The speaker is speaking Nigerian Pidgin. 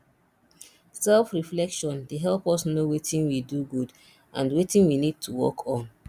selfreflection dey help us know wetin we do good and wetin we need to work on